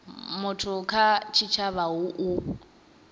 muthu kha tshitshavha hu u